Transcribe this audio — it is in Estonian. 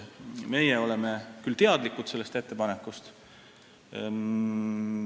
Meie oleme sellest küll teadlikud.